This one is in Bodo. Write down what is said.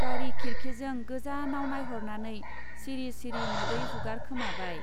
गारि खिरखि जों गोजानाव नाइहरनानै सिरि सिरि मोदै हुगारखोमाबाय।